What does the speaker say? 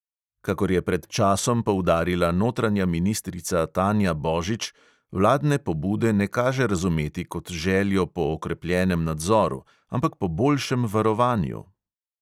Kakor je pred časom poudarila notranja ministrica tanja božič, vladne pobude ne kaže razumeti kot željo po okrepljenem nadzoru, ampak po boljšem varovanju.